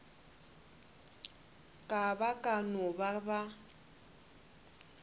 ba ka no ba ba